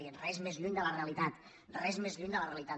i res més lluny de la realitat res més lluny de la realitat